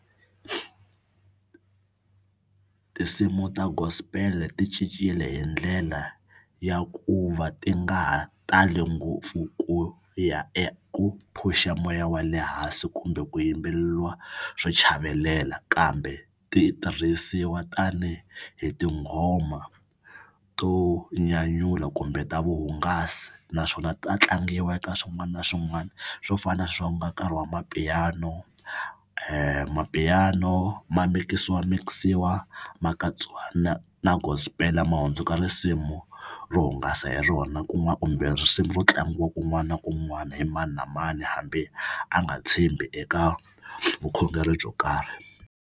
Tinsimu ta gospel ti cincile hi ndlela ya ku va ti nga ha tali ngopfu ku ya eku push-a moya wa le hansi kumbe ku yimbeleriwa swo chavelela kambe ti tirhisiwa tanihi hi tinghoma to nyanyula kumbe ta vuhungasi naswona ta tlangiwa eka swin'wana na swin'wana. Swo fana na sweswi ku nga nkarhi wa mapiano maPiano ma mikisiwamikisiwa ma katsiwa na na gospel ma hundzuka risimu ro hungasa hi rona kun'wana kumbe risimu ro tlangiwa kun'wana na kun'wana hi mani na mani hambi a nga tshembi eka vukhongeri byo karhi.